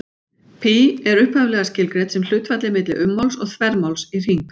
Pí er upphaflega skilgreint sem hlutfallið milli ummáls og þvermáls í hring.